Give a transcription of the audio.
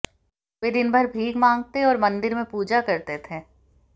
वे दिन भर भीख मांगते और मंदिर में पूजा करते थे